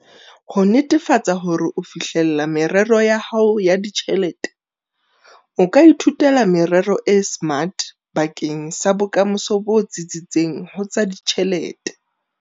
Ho netefatsa hore o fihlella merero ya hao ya ditjhelete, o ka ithuela merero e SMART bakeng sa bokamoso bo tsitsitseng ho tsa ditjhelete.